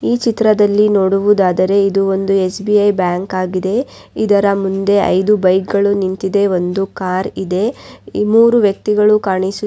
ಈ ಚಿತ್ರದಲ್ಲಿ ನೋಡುವುದಾದರೆ ಇದು ಒಂದು ಎಸ್_ಬಿ _ಐ ಬ್ಯಾಂಕ್ ಆಗಿದೆ ಇದರ ಮುಂದೆ ಐದು ಬೈಕ್ಗಳು ನಿಂತಿದೆ ಒಂದು ಕಾರ್ ಇದೆ ಈ ಮೂರೂ ವ್ಯಕ್ತಿಗಳು ಕಾಣಿಸು--